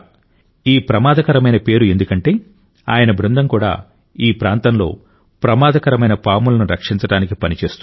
ఈ ప్రమాదకరమైన పేరు ఎందుకంటే ఆయన బృందం కూడా ఈ ప్రాంతంలో ప్రమాదకరమైన పాములను రక్షించడానికి పని చేస్తుంది